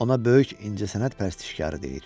Ona böyük incəsənət pərəstişkarı deyir.